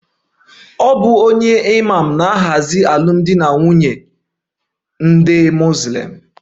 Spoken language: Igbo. A Muslim alụmdi na nwunye na-eduzi site na imam